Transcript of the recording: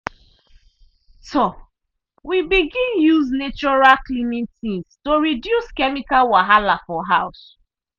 um we begin use natural cleaning things to reduce chemical wahala for house.